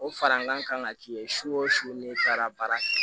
O fara an kan ka k'i ye su o su ni taara baara kɛ